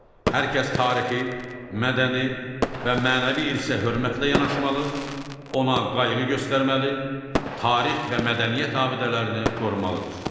Hər kəs tarixi, mədəni və mənəvi irsə hörmətlə yanaşmalı, ona qayğı göstərməli, tarix və mədəniyyət abidələrini qorumalıdır.